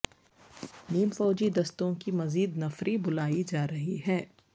نیم فوجی دستوں کی مزید نفری بلائی جا رہی ہے